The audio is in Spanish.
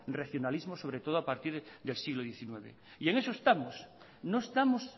regionalismo sobre todo a partir del siglo diecinueve y en eso estamos no estamos